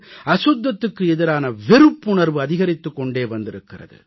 அசுத்தத்துக்கு எதிரான வெறுப்புணர்வு அதிகரித்துக் கொண்டே வந்திருக்கிறது